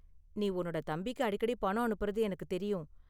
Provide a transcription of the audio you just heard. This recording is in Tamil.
நீ உன்னோட தம்பிக்கு அடிக்கடி பணம் அனுப்புறது எனக்கு தெரியும்.